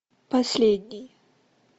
последний